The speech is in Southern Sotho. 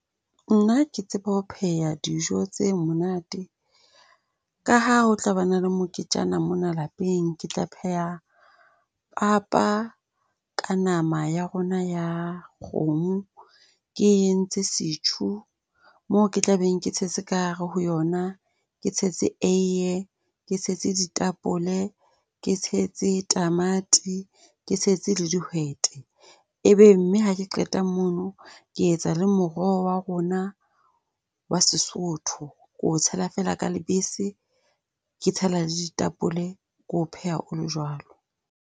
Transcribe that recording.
Nna ke tsebe ho pheha dijo tse monate. Ka ha ho tla ba na le moketjana mona lapeng, ke tla pheha papa ka nama ya rona ya kgomo. Ke entse setjhu moo ke tla be ke tshetse ka hare ho yona, ke tshetse eiye, ke tshetse ditapole, ke tshetse tamati, ke tshetse le dihwete. Ebe mme ha ke qeta mono, ke etsa le moroho wa rona wa Sesotho. Ke o tshela feela ka lebese. Ke tshela le ditapole. Ke o pheha o le jwalo.